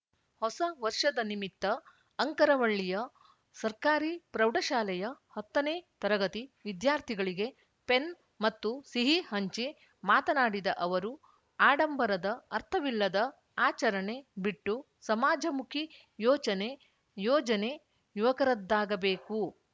ಹೊಸವರ್ಷದ ನಿಮಿತ್ತ ಅಂಕರವಳ್ಳಿಯ ಸರ್ಕಾರಿ ಪ್ರೌಢಶಾಲೆಯ ಹತ್ತ ನೇ ತರಗತಿ ವಿದ್ಯಾರ್ಥಿಗಳಿಗೆ ಪೆನ್‌ ಮತ್ತು ಸಿಹಿ ಹಂಚಿ ಮಾತನಾಡಿದ ಅವರು ಆಡಂಬರದ ಅರ್ಥವಿಲ್ಲದ ಆಚರಣೆ ಬಿಟ್ಟು ಸಮಾಜಮುಖಿ ಯೋಚನೆ ಯೋಜನೆ ಯುವಕರದ್ದಾಗಬೇಕು